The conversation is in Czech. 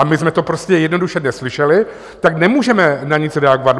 A my jsme to prostě jednoduše neslyšeli, tak nemůžeme na nic reagovat.